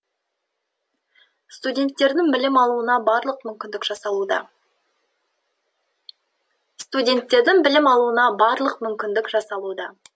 студенттердің білім алуына барлық мүмкіндік жасалуда студенттердің білім алуына барлық мүмкіндік жасалуда